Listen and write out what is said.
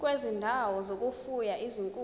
kwezindawo zokufuya izinkukhu